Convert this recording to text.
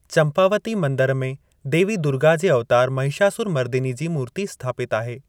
चंपावती मंदिर में देवी दुर्गा जे अवतार महिषासुरमर्दिनी जी मूर्ती स्थापितु आहे।